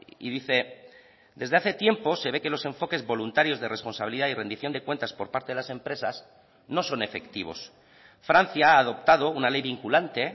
y dice desde hace tiempo se ve que los enfoques voluntarios de responsabilidad y rendición de cuentas por parte de las empresas no son efectivos francia ha adoptado una ley vinculante